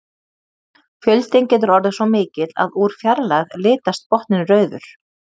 Fjöldinn getur orðið svo mikill að úr fjarlægð litast botninn rauður.